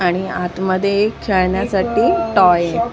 आणि आतमध्ये खेळण्यासाठी टॉय आहे.